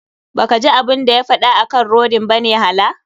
Ba kaji abun da ya faɗa akan rodin bane hala.